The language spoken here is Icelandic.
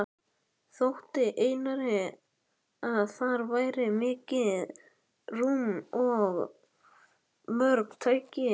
Þótti Einari, að þar væri mikið rúm og mörg tæki.